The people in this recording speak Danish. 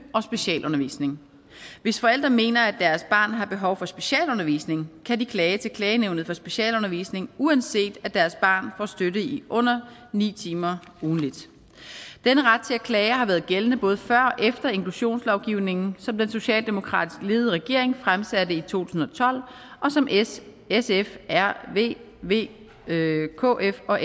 og specialundervisning hvis forældre mener at deres barn har behov for specialundervisning kan de klage til klagenævnet for specialundervisning uanset at deres barn får støtte i under ni timer ugentligt denne ret til at klage har været gældende både før og efter inklusionslovgivningen som den socialdemokratisk ledede regering fremsatte i to tusind og tolv og som s sf rv v kf og